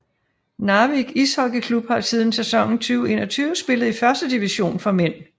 Narvik Ishockeyklubb har siden sæsonen 2021 spillet i førstedivision for mænd